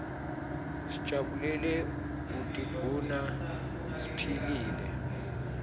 sijabulele kutiguna siphilile